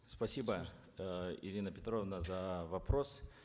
спасибо э ирина петровна за вопрос